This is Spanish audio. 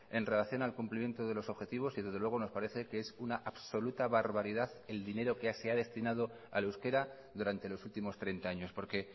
en relación al cumplimiento de los objetivos y desde luego nos parece que es una absoluta barbaridad el dinero que se ha destinado al euskera durante los últimos treinta años porque